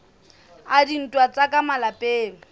a dintwa tsa ka malapeng